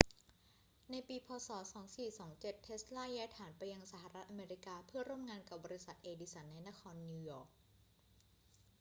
ในปี พ. ศ. 2427 เทสลาย้ายฐานไปยังสหรัฐอเมริกาเพื่อร่วมงานกับบริษัทเอดิสันในนครนิวยอร์ก